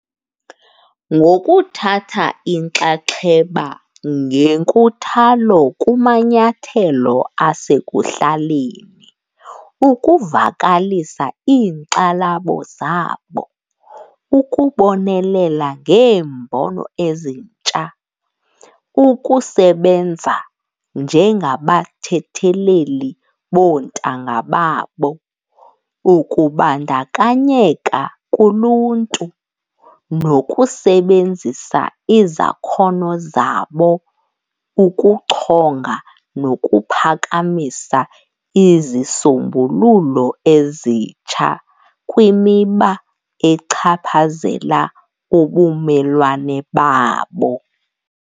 Ngokuthatha inxaxheba ngenkuthalo kumanyathelo asekuhlaleni, ukuvakalisa iinkxalabo zabo, ukubonelela ngeembono ezintsha, ukusebenza njengabathetheleli boontanga babo, ukubandakanyeka kuluntu nokusebenzisa izakhono zabo ukuchonga nokuphakamisa izisombululo ezitsha kwimiba echaphazela ubumelwane babo.